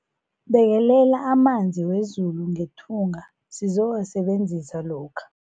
Bekelela amanzi wezulu ngethunga sizowasebenzisa lokha.